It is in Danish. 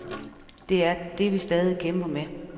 Det er det vi stadig kæmper med.